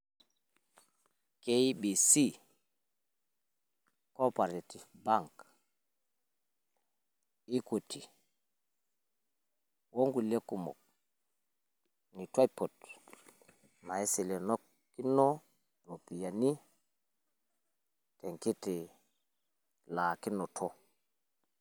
K.B.C, co-operative bank, Equity o nkulie nitu aipot naiselekino irropiyiani te nkiti laakinoto.